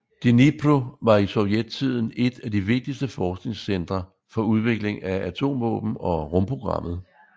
Dnipro var i sovjettiden et af de vigtigste forskningscentre for udvikling af atomvåben og rumprogrammet